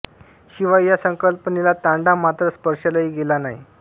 शिवाय या संकल्पनेला तांडा मात्र स्पर्शल्याही गेला नाही